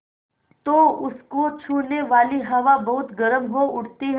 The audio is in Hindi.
तो उसको छूने वाली हवा बहुत गर्म हो उठती है